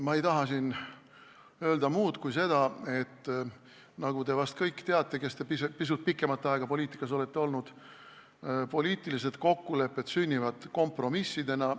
Ma ei taha siin öelda muud kui seda, et nagu te kõik, kes te pisut pikemat aega poliitikas olete olnud, vist teate, poliitilised kokkulepped sünnivad kompromissidena.